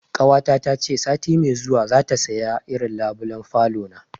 Ƙawata ta ce sati mai zuwa za ta saya irin labulen falona